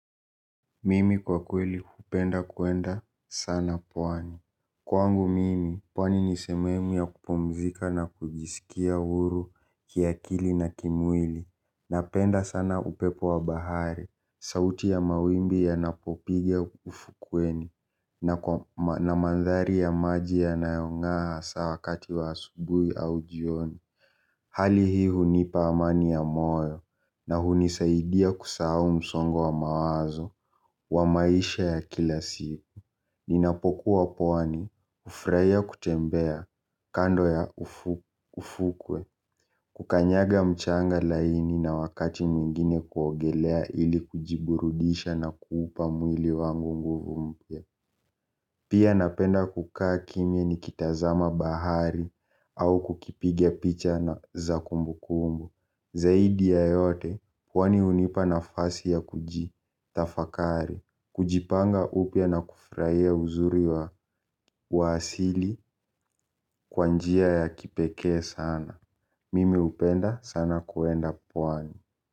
Mimi kwa kweli hupenda kwenda sana pwani. Kwangu mimi, pwani nisememu ya kupumzika na kujiskia huru kiakili na kimwili na penda sana upepo wa bahari. Sauti ya mawimbi ya napopiga ufukweni na kwa na mandhari ya maji ya nayongaa hasawakati wa asubui aujioni. Hali hii hunipa amani ya moyo na hunisaidia kusahau msongo wa mawazo wa maisha ya kila siku. Ninapokuwa pwani, ufurahia kutembea kando ya ufukwe, kukanyaga mchanga laini na wakati mwingine kuogelea ili kujiburudisha na kuupa mwili wangu nguvu mpia. Pia napenda kukaa kimya ni kitazama bahari au kukipigia picha na zakumbu kumbu. Zaidi ya yote, pwani unipa na fasi ya kuji, tafakari. Kujipanga upia na kufurahia uzuri wa waasili kwanjia ya kipekee sana. Mimi upenda sana kuenda kwani.